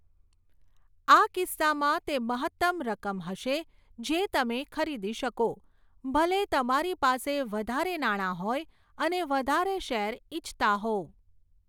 આ કિસ્સામાં, તે મહત્તમ રકમ હશે જે તમે ખરીદી શકો, ભલે તમારી પાસે વધારે નાણાં હોય અને વધારે શેર ઇચ્છતા હોવ.